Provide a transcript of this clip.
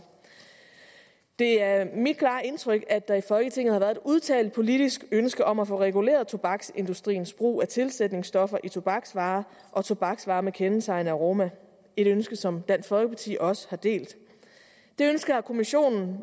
det er mit klare indtryk at der i folketinget har været et udtalt politisk ønske om at få reguleret tobaksindustriens brug af tilsætningsstoffer i tobaksvarer og tobaksvarer med kendetegnende aroma et ønske som dansk folkeparti også har delt det ønske har kommissionen